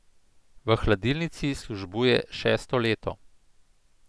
V hladilnici službuje šesto leto.